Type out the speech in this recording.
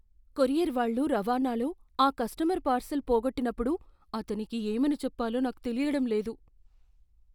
Courier వాళ్ళు రవాణాలో ఆ కస్టమర్ పార్శిల్ పోగొట్టినప్పుడు అతనికి ఏమని చెప్పాలో నాకు తెలియడం లేదు.